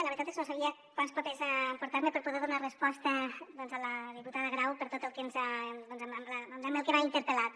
la veritat és que no sabia quants papers emportar me per poder donar resposta a la diputada grau per tot el que m’ha interpel·lat